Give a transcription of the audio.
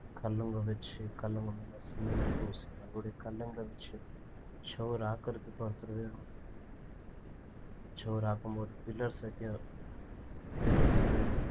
கல்லுங்கவச்சு கல்லுங்க முன்னால cement அ பூசி மறுபடி கல்லுங்க வச்சு சுவர் ஆக்குறதுக்கு ஒருத்தர் வேணும் சுவர் ஆக்கும் போது pillars வைக்க இன்னொருத்தார் வேணும்